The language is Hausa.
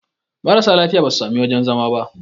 marasa lafiya ba su sami wajen zama ba